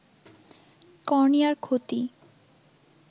কর্নিয়ার ক্ষতি